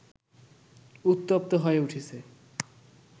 উত্তপ্ত হয়ে উঠছে